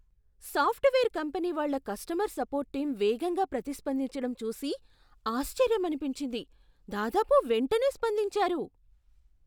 Software company వాళ్ళ customer support team వేగంగా ప్రతిస్పందించడం చూసి ఆశ్చర్యమనిపించింది. దాదాపు వెంటనే స్పందించారు!